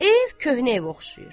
Ev köhnə evə oxşayır.